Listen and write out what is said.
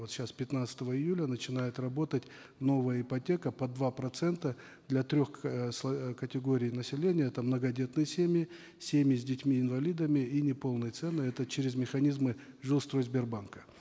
вот сейчас пятнадцатого июля начинает работать новая ипотека под два процента для трех эээ э категорий населения это многодетные семьи семьи с детьми инвалидами и неполные цены это через механизмы жилстройсбербанка